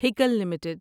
Hikal limited